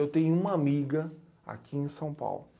Eu tenho uma amiga aqui em São Paulo.